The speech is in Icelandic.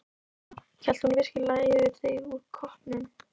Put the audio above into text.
SÓLA: Hellti hún virkilega yfir þig úr koppnum!